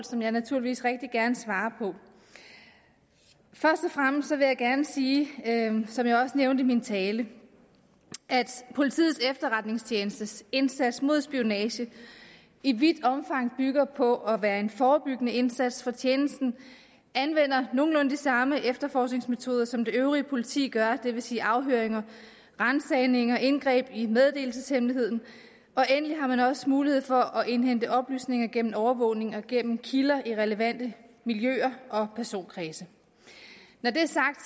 som jeg naturligvis rigtig gerne svarer på først og fremmest vil jeg gerne sige som jeg også nævnte min tale at politiets efterretningstjenestes indsats mod spionage i vidt omfang bygger på at være en forebyggende indsats for tjenesten anvender nogenlunde de samme efterforskningsmetoder som det øvrige politi gør det vil sige afhøringer ransagninger og indgreb i meddelelseshemmeligheden og endelig har man også mulighed for at indhente oplysninger gennem overvågning og gennem kilder i relevante miljøer og personkredse når det er sagt